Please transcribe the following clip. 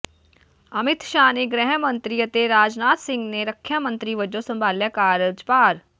ਅਮਿਤ ਸ਼ਾਹ ਨੇ ਗ੍ਰਹਿ ਮੰਤਰੀ ਅਤੇ ਰਾਜਨਾਥ ਸਿੰਘ ਨੇ ਰੱਖਿਆ ਮੰਤਰੀ ਵਜੋਂ ਸੰਭਾਲਿਆ ਕਾਰਜਭਾਰ